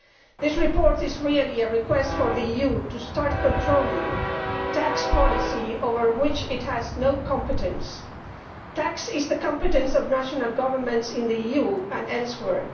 This report is really a request for the EU to start controlling tax policy over which it has no competence. Tax is the competence of national governments in the EU and elsewhere.